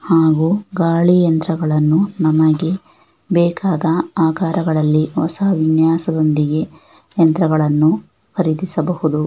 ಹಾಗೂ ಗಾಳಿ ಯಂತ್ರಗಳನ್ನು ನಮಗೆ ಬೇಕಾದ ಆಕಾರಗಳಲ್ಲಿ ಹೊಸ ವಿನ್ಯಾಸದೊಂದಿಗೆ ಯಂತ್ರಗಳನ್ನು ಖರೀದಿಸಬಹುದು.